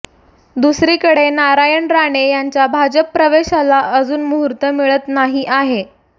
दुसरीकडे नारायण राणे यांच्या भाजप प्रवेशाला अजून मुहूर्त मिळत नाही आहे